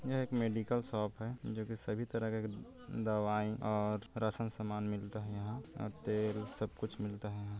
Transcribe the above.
यह एक medical shop है जो की सभी तरह का दवाई और राशन सामान मिलता है यहाँ अउ तेल सब कुछ मिलता है यहाँ--